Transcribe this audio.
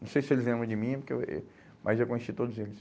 Não sei se eles lembram de mim, porque e u eh, mas eu conheci todos eles.